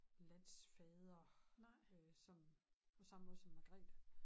Landsfader øh som på samme måde som Margrethe